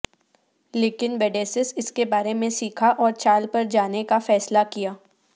لیکن وڈیسیس اس کے بارے میں سیکھا اور چال پر جانے کا فیصلہ کیا